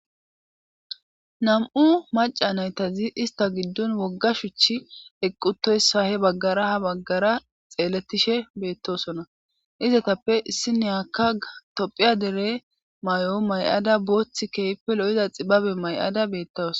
Nam'u maca naytazi ista giddun wogga shuchi eqqutoyssa he baggara ha baggara xeeletishe beettosona izatappe issiniyakka tophiya dere may7o may7ada boothi keypelo7iza xibabe may7ada beettas